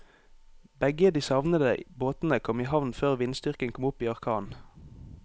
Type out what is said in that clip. Begge de savnede båtene kom i havn før vindstyrken kom opp i orkan.